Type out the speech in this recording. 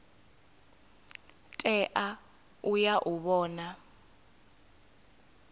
tea u ya u vhona